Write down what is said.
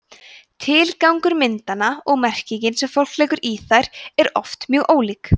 tilgangur myndanna og merkingin sem fólk leggur í þær eru oft mjög ólík